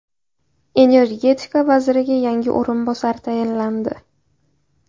Energetika vaziriga yangi o‘rinbosar tayinlandi.